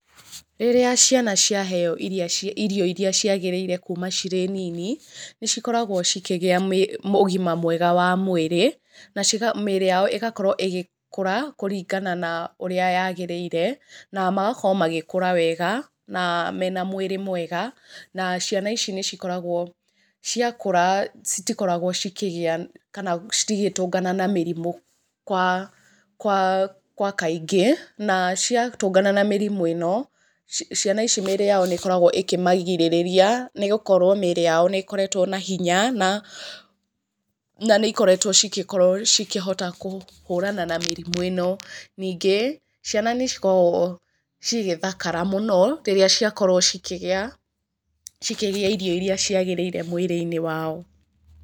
Rĩrĩa ciana cĩaheywo iria, irio iria cĩagĩrĩire kuma cirĩ nini, nĩ cikoragwo cikigĩa mĩ ũgima mwega wa mwĩrĩ, na cigako, mĩĩrĩ yao ĩgakorwo ĩgĩkũra na kĩringana na ũrĩa ĩrĩa yagĩrĩire, na magakorwo magĩkũra wega, na mena mwĩrĩ mwega, na ciana ici nĩ cikoragwo ciakũra citikoragwo cikĩgĩa kana cigĩtũngana na mĩrimũ kwa, gwa kaingĩ, na cia tũngana na mĩrimũ ĩno, ciana ici mĩĩrĩ yao nĩ ĩkoragwo ĩkĩmagirĩrĩria nĩ gũkorwo mĩĩri yao nĩĩkoretwo na hinya na nĩikoretwo cigĩkorwo cikĩhota kũhũrana na mĩrimũ ĩno. Ningĩ, ciana nĩ cikoragwo igĩthakara mũno rĩrĩa ciakorwo cikĩrĩa, cikĩrĩa irio irĩa ciagĩrĩire mwiri-inĩ wao.